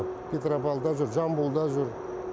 петропавлда жүр жамбылда жүр